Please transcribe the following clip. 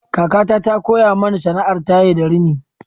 Kakata ta koya mani sana'ar taye da rini.